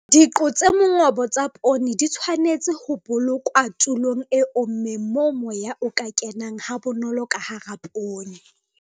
Diqo tse mongobo tsa poone di tshwanetse ho bolokwa tulong e ommeng moo moya o ka kenang ha bonolo hara poone.